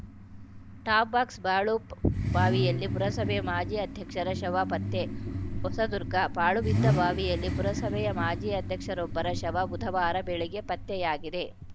top box ಪಾಳು ಬಾವಿಯಲ್ಲಿ ಪುರಸಭೆ ಮಾಜಿ ಆಧ್ಯಕ್ಷರ ಶವ ಪತ್ತೆ ಹೊಸದುರ್ಗ ಪಾಳುಬಿದ್ದ ಬಾವಿಯಲ್ಲಿ ಪುರಸಭೆಯ ಮಾಜಿ ಅಧ್ಯಕ್ಷರೊಬ್ಬರ ಶವ ಬುಧವಾರ ಬೆಳಗ್ಗೆ ಪತ್ತೆಯಾಗಿದೆ